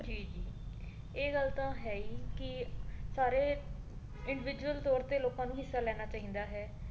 ਜੀ ਜੀ ਇਹ ਗੱਲ ਤਾਂ ਹੈ ਹੀ ਕੀ ਸਾਰੇ individual ਤੌਰ ਤੇ ਲੋਕਾਂ ਨੂੰ ਹਿੱਸਾ ਲੈਣਾ ਚਾਹੀਦਾ ਹੈ।